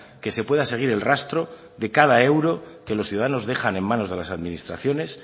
que se pueda seguir el rastro de cada euro que los ciudadanos dejan en manos de las administraciones